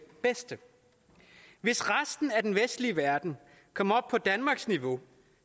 bedste hvis resten af den vestlige verden kom op på danmarks niveau